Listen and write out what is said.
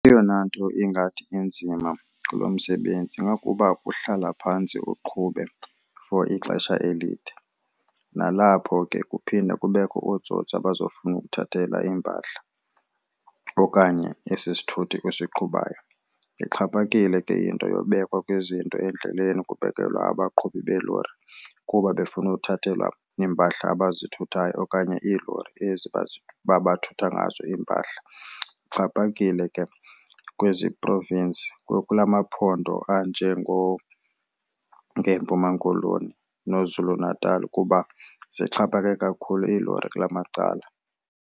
Eyona nto ingathi inzima kulo msebenzi ingakuba kuhlala phantsi uqhube for ixesha elide. Nalapho ke kuphinde kubekho ootsotsi abazofuna ukuthathela iimpahla okanye esi sithuthi usiqhubayo. Ixhaphakile ke into yobekwa kwezinto endleleni kubekelwa abaqhubi beelori kuba befuna uthathelwa iimpahla abazithuthayo okanye iilori ezi bathutha ngazo iimpahla. Ixhaphakile ke kwezi province kula maphondo anjengo ngeeMpuma Koloni nooZulu Natal kuba zixhaphake kakhulu iilori kulaa macala.